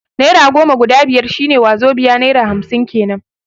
Naira goma guda biyar shi ne wazobai (naira hamsin kenan)